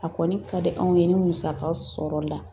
A kɔni ka di anw ye ni musaka sɔrɔla